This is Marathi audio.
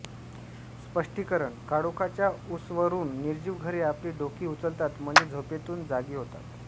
स्पष्टीकरण काळोखाच्या उसवरून निर्जीव घरे आपली डोकी उचलतात म्हणजे झोपेतून जागी होतात